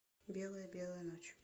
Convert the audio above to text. белая белая ночь